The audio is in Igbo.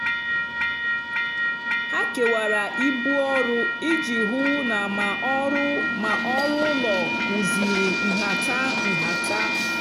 ha kewara ibu ọrụ iji hụ na ma ọrụ ma ọrụ ụlọ kwụziri nhata. nhata.